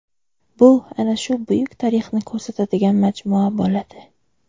Bu ana shu buyuk tarixni ko‘rsatadigan majmua bo‘ladi.